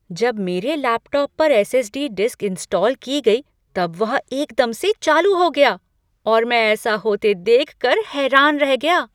जब मेरे लैपटॉप पर एस.एस.डी. डिस्क इंस्टॉल की गई तब वह एकदम से चालू हो गया और मैं ऐसा होते देख कर हैरान रह गया।